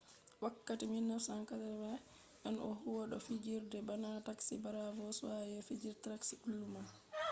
wakkati 1980 en o huwi do fijirde bana taxi cheers be fijirde tracy ullman